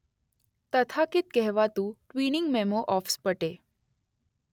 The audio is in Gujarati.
તથાકથિત કહેવાતું ટ્વીનીંગ મેમો ઑફ સ્પટે.